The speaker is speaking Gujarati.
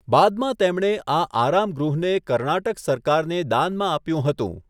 બાદમાં તેમણે આ આરામગૃહને કર્ણાટક સરકારને દાનમાં આપ્યું હતું.